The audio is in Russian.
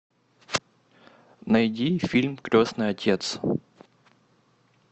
найди фильм крестный отец